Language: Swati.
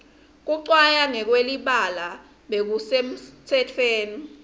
kucwaya ngekwelibala bekusemtsetweni